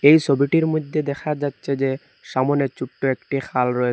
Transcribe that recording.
এই সোবিটির মইধ্যে দেখা যাচ্ছে যে সামনে ছোট্ট একটি খাল রয়েসে।